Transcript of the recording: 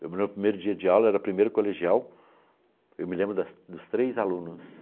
No meu primeiro dia de aula, era o primeiro colegial, eu me lembro das dos três alunos.